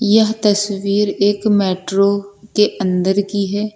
यह तस्वीर एक मेट्रो के अंदर की है।